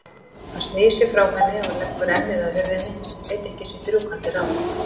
Hann snýr sér frá henni og leggur ennið að hurðinni, veit ekki sitt rjúkandi ráð.